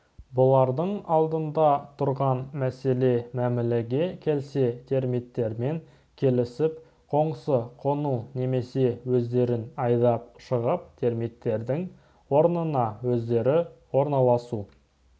бұлардың алдында тұрған мәселе мәмілеге келсе термиттермен келісіп қоңсы қону немесе өздерін айдап шығып термиттердің орнына өздері орналасу